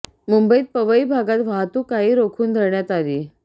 मुंबईत पवई भागात वाहतूक काही रोखून धरण्यात आली